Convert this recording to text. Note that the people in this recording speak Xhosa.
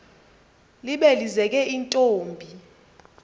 libe lizeke intombi